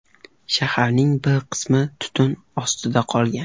Shaharning bir qismi tutun ostida qolgan.